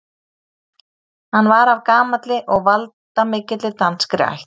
Hann var af gamalli og valdamikilli danskri ætt.